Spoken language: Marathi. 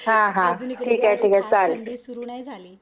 अजून इकडे थंडी सुरु नाही झाली